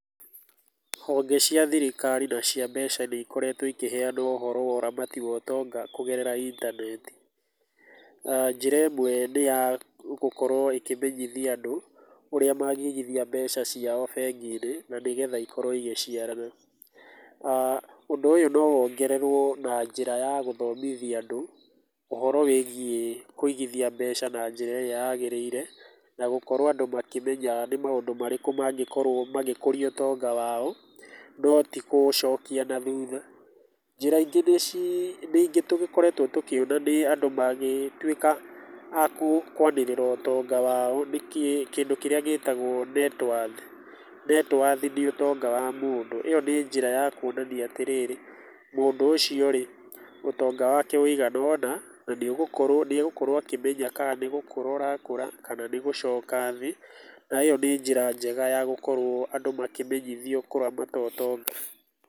Honge cia thirikari na cia mbeca nĩ ikoretwo ikĩheana ũhoro wa ũramati wa ũtonga kũgerera intaneti. Njĩra ĩmwe nĩ ya gũkorwo ĩkĩmenyithia andũ ũrĩa mangĩigithia mbeca ciao bengi-inĩ, na nĩgetha ikorwo igĩciarana. Ũndũ ũyũ no wongererwo na njĩra ya gũthomithia andũ ũhoro wĩgiĩ kũigithia mbeca na njĩra ĩrĩa yagĩrĩire, na gũkorwo andũ makĩmenya nĩ maũndũ marĩkũ mangĩkorwo mangĩkũria ũtonga wao na ti kũũcokia nathutha. Njĩra ingĩ tũgĩkoretwo tũkiona nĩ andũ magĩtuĩka a kwanĩrĩra ũtonga wao, nĩ kĩndũ kĩrĩa gĩtagwo net worth. Net worth nĩ ũtonga wa mũndũ, ĩyo nĩ njĩra ya kuonania atĩrĩrĩ, mũndũ ũcio rĩ, ũtonga wake ũigana ũna, na nĩ ũgũkorwo, nĩ egũkorwo akĩmenya kana nĩ gũkũra ũrakũra, kana nĩ gũcoka thĩ. Na ĩyo nĩ njĩra njega ya gũkorwo andũ makĩmenyithio kũramata ũtonga.